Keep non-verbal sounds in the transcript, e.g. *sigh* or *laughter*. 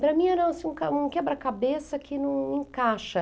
Para mim era, assim, um *unintelligible* um quebra-cabeça que não encaixa.